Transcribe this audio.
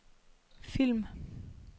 film